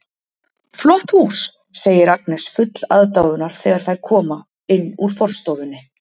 Flott hús, segir Agnes full aðdáunar þegar þær koma inn úr forstofunni.